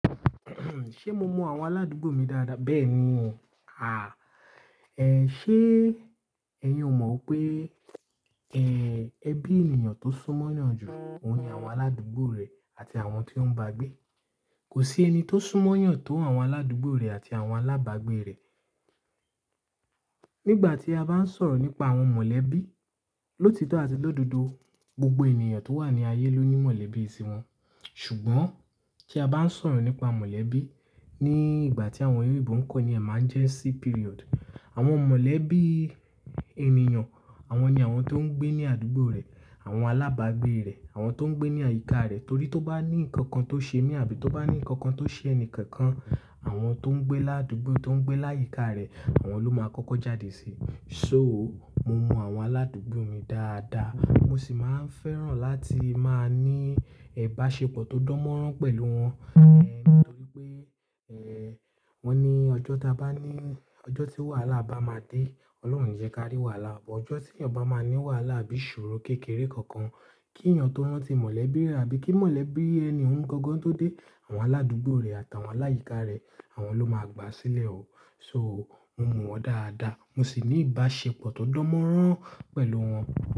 Ṣé mo mọ àwọn aládùúgbò mi dáadáa? Bẹ́ẹ̀ni, ṣe ẹ yóò mọ pé ẹbí ènìyàn tó súnmọ́ yàn ju, òun ni àwọn aládùúgbò rẹ̀ àti àwọn tó ń bá gbé. Kò sí ẹni tó súnmọ́ yàn tó àwọn aládùúgbò rẹ̀ àti àwọn alábàágbé rẹ̀. Nígbà tí a bá ń sọ̀rọ̀ nípa àwọn mọ̀lẹ́bí, lótítọ́ àti lódodo, gbogbo ènìyàn tó wà ní ayé ló ní mọ̀lẹ́bí sí wọn. Ṣùgbọ́n tí a bá ń sọ̀rọ̀ nípa mọ̀lẹ́bí ní ìgbà tí àwọn oloyinbo npe Emergency Period, àwọn mọ̀lẹ́bí ènìyàn, àwọn ni àwọn tó ń gbé ní àdúgbò rẹ̀, àwọn alábàágbé rẹ̀, àwọn tó ń gbé ní àyíká rẹ̀. Torí tí ó bá ní nǹkan kan tó ṣe mí àbí tó bá ní nǹkan kan tó ṣe ẹni kankan, àwọn tó ń gbé ládúgbò, tó ń gbé láyíká rẹ̀, àwọn ló máa kọ́kọ́ jáde sí i. So, mo máa àwọn aládùúgbò mi dáadáa, mo sì máa ń fẹ́ràn láti máa ní ìbáṣepọ̀ tó dánmọ́rán pẹ̀lú wọn, nítorí pé wọ́n ni ọjọ́ tí a bá ní, ọjọ́ tí wàhálà bá máa dé, Ọlọ́run yẹ ká rí wàhálà. Ọjọ́ tí ènìyàn bá máa ní wàhálà bí ìṣòro kékeré kankan, kí ènìyàn tó rántí mọ̀lẹ́bí rẹ̀ àbí kí mọ̀lẹ́bí ẹni o n gangan tó dé, àwọn aládùúgbò rẹ̀ àtàwọn láyìíká rẹ̀, àwọn ló máa gbá a sílẹ̀ o. So, mo máa wọ́n dáadáa, mo sì ní ìbáṣepọ̀ tó dánmọ́rán pẹ̀lú wọn.